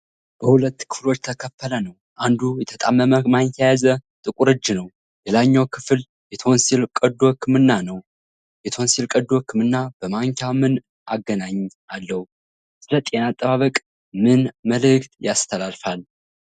በሁለት ክፍሎች የተከፈለ ነው፤ አንዱ የተጣመመ ማንኪያ የያዘ ጥቁር እጅ ነው። ሌላኛው ክፍል የቶንሲል ቀዶ ሕክምናን ነው። የቶንሲል ቀዶ ሕክምና በማንኪያ ምን አገናኝ አለው? ስለ ጤና አጠባበቅ ምን መልእክት ያስተላልፋል?